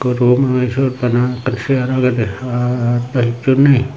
ekko room agey syot bana ekkan chair agedey ar do hicchu nei.